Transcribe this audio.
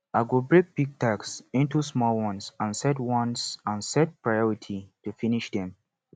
i go break big task into small ones and set ones and set priority to finish them